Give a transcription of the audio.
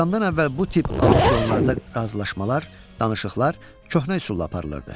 atamdan əvvəl bu tip auksionlarda razılaşmalar, danışıqlar köhnə üsulla aparılırdı.